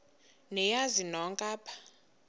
niyazi nonk apha